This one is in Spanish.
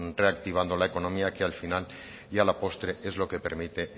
reactivando la economía que al final y a la postre es lo que permite